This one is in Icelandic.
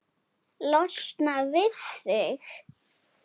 Losna við þig?